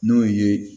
N'o ye